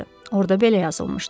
Orda belə yazılmışdı.